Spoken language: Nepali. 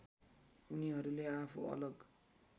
उनीहरूले आफू अलग